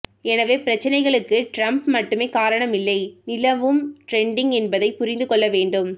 எனவே பிரச்சினைகளுக்கு டிரம்ப் மட்டுமே காரணம் இல்லை நிலவும் டிரெண்டும் என்பதைப் புரிந்து கொள்ள வேண்டும்